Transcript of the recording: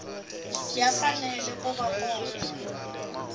ya fanele ku va kona